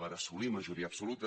per assolir majoria absoluta